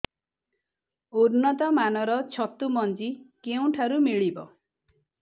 ଉନ୍ନତ ମାନର ଛତୁ ମଞ୍ଜି କେଉଁ ଠାରୁ ମିଳିବ